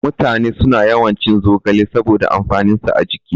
Mutane suna yawan cin zogale saboda amfanin sa a jiki